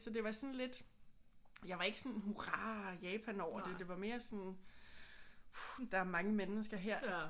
Så det var sådan lidt jeg var ikke sådan hurra Japan over det. Det var mere sådan puh der er mange mennesker her